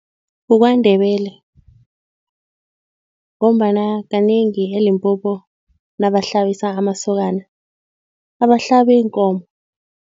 KukwaNdebele ngombana kanengi eLimpopo nabahlabisa amasokana, abahlabi iinkomo.